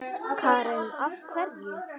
Karen: Af hverju?